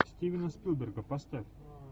стивена спилберга поставь